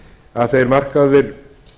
að þeir markaðir